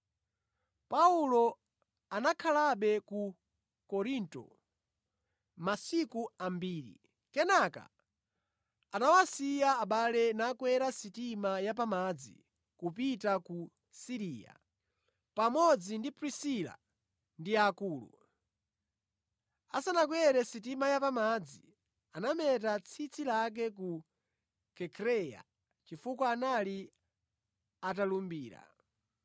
Paulo anakhalabe ku Korinto masiku ambiri. Kenaka anawasiya abale nakwera sitima ya pamadzi kupita ku Siriya, pamodzi ndi Prisila ndi Akula. Asanakakwere sitima ya pamadzi, anameta tsitsi lake ku Kenkreya chifukwa anali atalumbira.